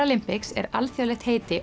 paralympics er alþjóðlegt heiti